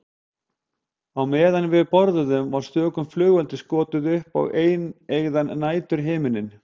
Á meðan við borðuðum var stöku flugeldi skotið upp á eineygðan næturhimininn.